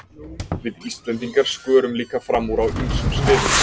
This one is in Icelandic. Við Íslendingar skörum líka fram úr á ýmsum sviðum.